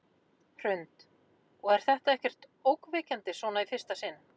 Hrund: Og er þetta ekkert ógnvekjandi svona í fyrsta sinn?